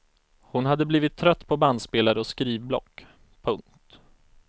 Hon hade blivit trött på bandspelare och skrivblock. punkt